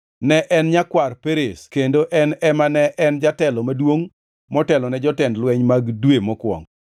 Ne en nyakwar Perez kendo en ema ne en jatelo maduongʼ motelone jotend lweny mag dwe mokwongo.